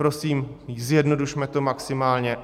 Prosím, zjednodušme to maximálně.